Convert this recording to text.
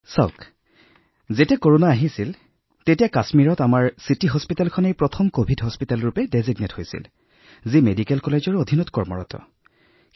চাওক যেতিয়া কৰোনা আৰম্ভ হৈছিল কাশ্মীৰত কোভিড চিকিৎসালয় হিচাপে নিৰ্ধাৰিত প্ৰথম চিকিৎসালয়খন আমাৰ মহানগৰ চিকিৎসালয় আছিল